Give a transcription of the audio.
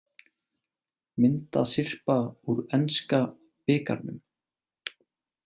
Myndasyrpa úr enska bikarnum